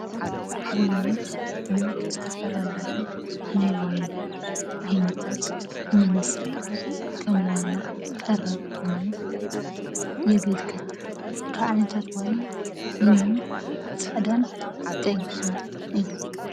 ወይኒ ንዝተፈላለዩ ናይ ዋይን ዓይነታት መስርሒ ከም ዋና ቀረብ ኮይኑ የገልግል። ካብ ዓይነታት ወይኒ ፃዕዳን ቀይሕን እዮም።